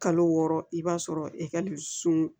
Kalo wɔɔrɔ i b'a sɔrɔ ekalisun